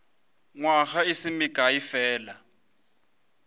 nywaga e se mekae fela